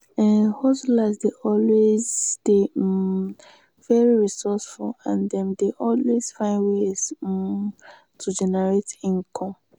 um hustlers dey always dey um very resourceful and dem dey always find ways um to generate income